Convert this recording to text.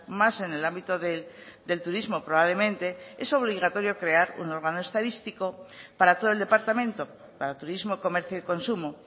más en el ámbito del turismo probablemente es obligatorio crear un órgano estadístico para todo el departamento para turismo comercio y consumo